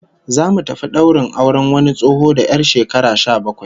Zamu tafi daurin auren wani tsoho da 'yar shekara sha bakwai